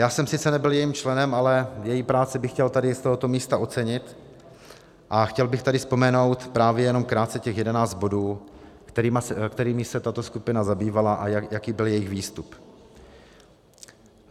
Já jsem sice nebyl jejím členem, ale její práci bych chtěl tady z tohoto místa ocenit a chtěl bych tady vzpomenout právě jenom krátce těch 11 bodů, kterými se tato skupina zabývala, a jaký byl jejich výstup.